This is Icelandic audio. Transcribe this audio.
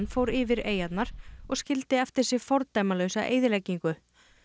fór yfir eyjarnar og skildi eftir sig fordæmalausa eyðileggingu